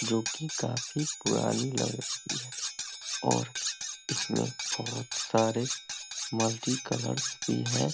जो की काफ़ी पुरानी लग रही है और इसमें बहुत सारे मल्टी कलरस भी हैं।